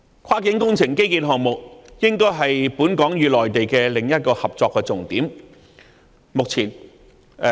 跨境工程建基項目應該是本港與內地的另一個合作重點。